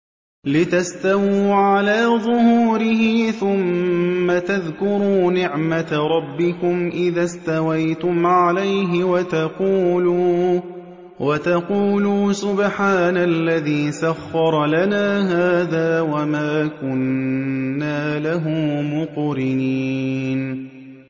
لِتَسْتَوُوا عَلَىٰ ظُهُورِهِ ثُمَّ تَذْكُرُوا نِعْمَةَ رَبِّكُمْ إِذَا اسْتَوَيْتُمْ عَلَيْهِ وَتَقُولُوا سُبْحَانَ الَّذِي سَخَّرَ لَنَا هَٰذَا وَمَا كُنَّا لَهُ مُقْرِنِينَ